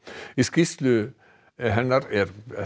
í skýrslu hennar er